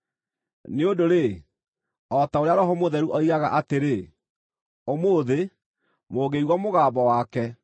Nĩ ũndũ-rĩ, o ta ũrĩa Roho Mũtheru oigaga, atĩrĩ: “Ũmũthĩ, mũngĩigua mũgambo wake,